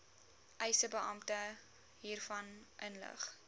eisebeampte hiervan inlig